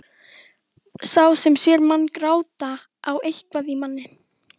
Sá sem sér mann gráta á eitthvað í manni.